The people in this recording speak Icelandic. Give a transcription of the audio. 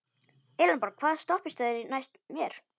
Elenborg, hvaða stoppistöð er næst mér?